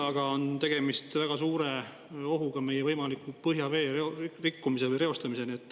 Aga tegemist on väga suure ohuga, kuni selleni välja, et on võimalik meie põhjavee rikkumine või reostumine.